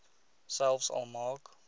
selfs al maak